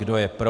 Kdo je pro?